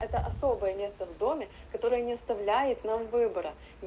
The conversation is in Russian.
то особое место в доме которое не оставляет нам выбора